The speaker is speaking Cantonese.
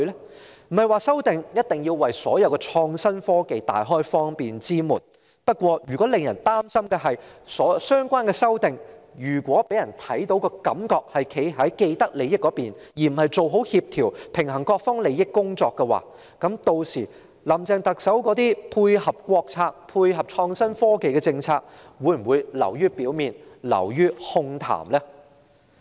我們並非指法例修訂必然要為所有創新科技大開方便之門，但如果相關修訂給人的感覺是站在既得利益者的一方，而非做好協調和平衡各方利益的工作，屆時，特首林鄭月娥提出配合國策和創新科技的政策，會否只是流於表面和空談呢？